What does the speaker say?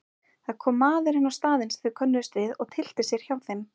Það kom maður inn á staðinn sem þeir könnuðust við og tyllti sér hjá þeim.